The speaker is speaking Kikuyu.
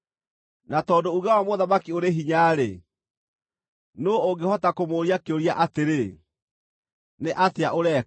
Na tondũ uuge wa mũthamaki ũrĩ hinya-rĩ, nũũ ũngĩhota kũmũũria kĩũria atĩrĩ, “Nĩ atĩa ũreka?”